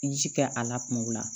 Ji kɛ a la kuma o la